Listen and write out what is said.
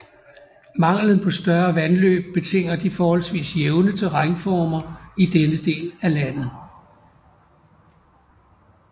Manglen på større vandløb betinger de forholdsvis jævne terrænformer i denne del af landet